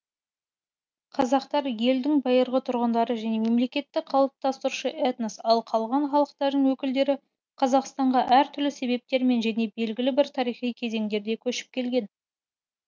қазақтар елдің байырғы тұрғындары және мемлекетті қалыптастырушы этнос ал қалған халықтардың өкілдері қазақстанға әр түрлі себептермен және белгілі бір тарихи кезеңдерде көшіп келген